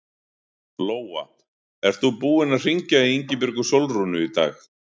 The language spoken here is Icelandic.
Lóa: Ert þú búinn að hringja í Ingibjörgu Sólrúnu í dag?